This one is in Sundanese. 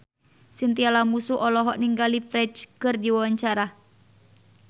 Chintya Lamusu olohok ningali Ferdge keur diwawancara